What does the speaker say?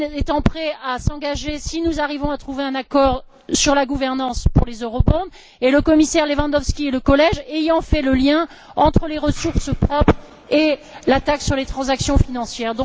Rehn étant prêt à s'engager, si nous arrivons à trouver un accord sur la gouvernance pour les eurobonds et le commissaire Lewandowski et le collège ayant fait le lien entre les ressources propres et la taxe sur les transactions financières.